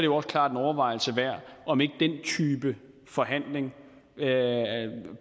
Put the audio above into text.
også klart en overvejelse værd om ikke den type forhandling